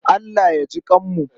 Allah ya jiƙanmu.